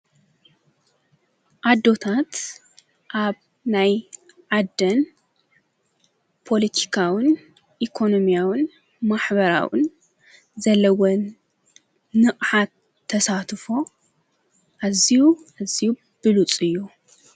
ኣዶታት ኣብ ናይ ዓደን ፖለቲካውን ኢኮኖምያውን ማኅበራውን ዘለወን ንቕሓት ተሳትፎ ኣዚዩ እዚዩ ብሉፁ እዩ::